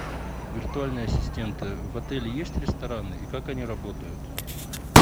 виртуальные ассистенты в отеле есть рестораны и как они работают